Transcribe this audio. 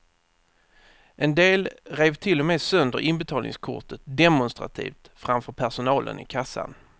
En del rev till och med sönder inbetalningskortet demonstrativt framför personalen i kassan.